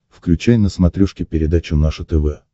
включай на смотрешке передачу наше тв